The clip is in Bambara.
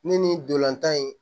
Ne ni ndolantan in